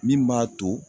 Min b'a to